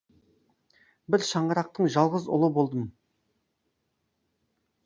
бір шаңырақтың жалғыз ұлы болдым